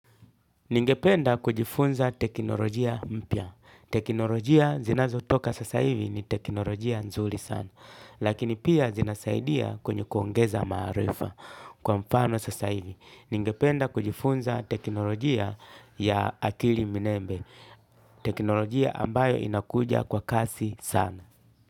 Ningependa kujifunza teknolojia mpya. Teknolojia zinazotoka sasa hivi ni teknolojia nzuri sana. Lakini pia zinasaidia kwenye kuongeza maarifa kwa mfano sasa hivi. Ningependa kujifunza teknolojia ya akili minembe. Teknolojia ambayo inakuja kwa kasi sana.